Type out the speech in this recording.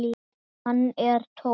Hann er tómur.